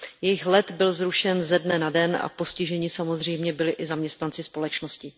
Jejich let byl zrušen ze dne na den a postiženi samozřejmě byli i zaměstnanci společnosti.